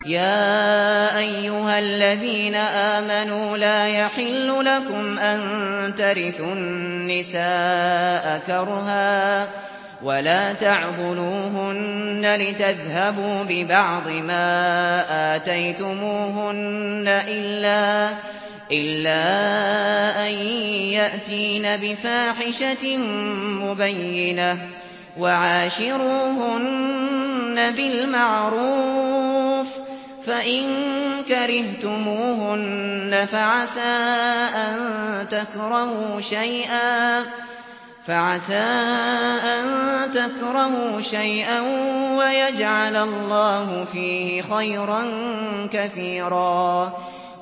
يَا أَيُّهَا الَّذِينَ آمَنُوا لَا يَحِلُّ لَكُمْ أَن تَرِثُوا النِّسَاءَ كَرْهًا ۖ وَلَا تَعْضُلُوهُنَّ لِتَذْهَبُوا بِبَعْضِ مَا آتَيْتُمُوهُنَّ إِلَّا أَن يَأْتِينَ بِفَاحِشَةٍ مُّبَيِّنَةٍ ۚ وَعَاشِرُوهُنَّ بِالْمَعْرُوفِ ۚ فَإِن كَرِهْتُمُوهُنَّ فَعَسَىٰ أَن تَكْرَهُوا شَيْئًا وَيَجْعَلَ اللَّهُ فِيهِ خَيْرًا كَثِيرًا